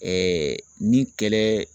Ɛɛ ni kɛlɛ